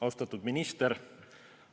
Austatud minister!